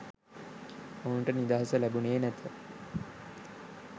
ඔවුනට නිදහස ලැබුනේ නැත.